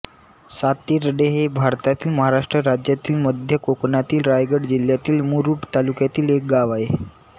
सातिर्डे हे भारतातील महाराष्ट्र राज्यातील मध्य कोकणातील रायगड जिल्ह्यातील मुरूड तालुक्यातील एक गाव आहे